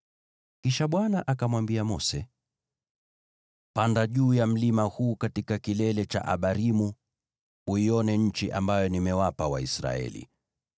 Kisha Bwana akamwambia Mose, “Panda juu ya mlima huu katika kilele cha Abarimu uione nchi ambayo nimewapa Waisraeli.